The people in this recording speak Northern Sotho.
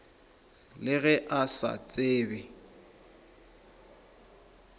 le ge a sa tsebe